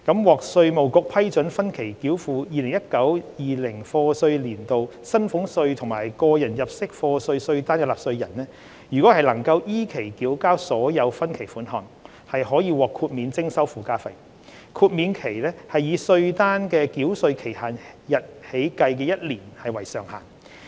獲稅務局批准分期繳付 2019-2020 課稅年度薪俸稅及個人入息課稅稅單的納稅人，如能依期繳交所有分期款項，可獲豁免徵收附加費，豁免期以稅單的繳稅期限日起計的一年為上限。